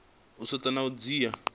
u setsha na u dzhia